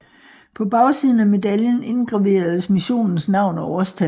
På bagsiden af medaljen indgraveres missionens navn og årstal